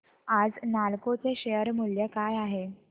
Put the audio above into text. आज नालको चे शेअर मूल्य काय आहे